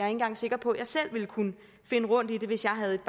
engang sikker på jeg selv ville kunne finde rundt i det hvis jeg havde et